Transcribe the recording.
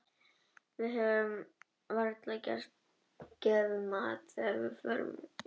Við höfðum varla gert matnum skil þegar allt í einu gerði ægilegt veður.